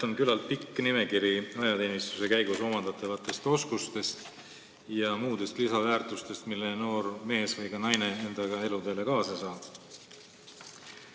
Ma arvan, et nimekiri ajateenistuse käigus omandatavatest oskustest ja muudest lisaväärtustest, mille noor mees või ka naine endaga eluteele kaasa saab, on küllalt pikk.